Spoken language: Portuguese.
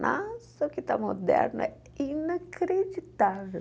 Nossa, o que está moderno é inacreditável.